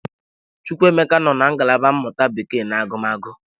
Chukwuemeka nọ na ngalaba mmụta Bekee na agụmagụ.